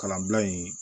Kalanbila in